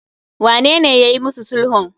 wanene yayi musu sulhun?